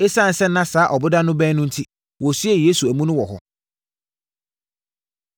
Esiane sɛ na saa ɔboda no bɛn no enti, wɔsiee Yesu amu no wɔ hɔ.